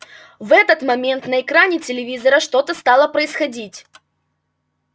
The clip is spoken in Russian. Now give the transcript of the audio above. в этот момент на экране телевизора что-то стало происходить